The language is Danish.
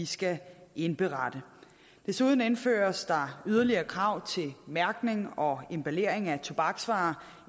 skal indberette desuden indføres der yderligere krav til mærkning og emballering af tobaksvarer